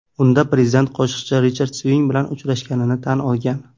Unda prezident qo‘shiqchi Richard Sving bilan uchrashganini tan olgan.